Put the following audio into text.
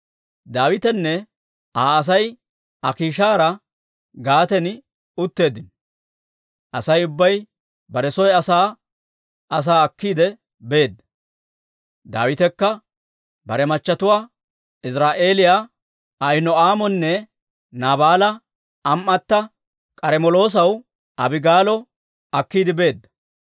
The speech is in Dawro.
Daawitenne Aa Asay Akiishaara Gaaten utteeddino. Asay ubbay bare soo asaa asaa akkiide beedda; Daawitekka bare machatuwaa, Iziraa'eeliyaa Ahino'aamonne Naabaala am"atta, K'armmeloosiyaa Abigaalo akkiide beedda.